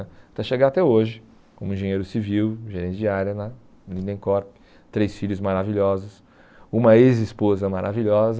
Até chegar até hoje, como engenheiro civil, gerente de área na Linden Corp, três filhos maravilhosos, uma ex-esposa maravilhosa,